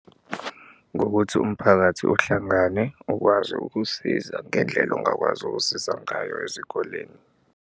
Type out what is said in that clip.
Ngokuthi umphakathi uhlangane ukwazi ukusiza ngendlela ongakwazi ukusiza ngayo ezikoleni.